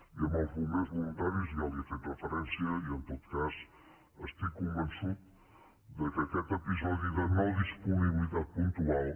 i als bombers voluntaris ja li he fet referència i en tot cas estic convençut que aquest episodi de no disponibilitat puntual